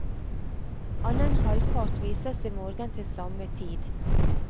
Annen halvpart vises i morgen til samme tid.